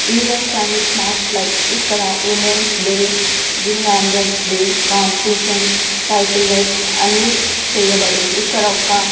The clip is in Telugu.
ఈవెంట్స్ అండ్ స్మార్ట్ లైఫ్ ఇక్కడ women's day gym anniversary day competition cycle rides అన్నీ చేయబడును. ఇక్కడ ఒక్క --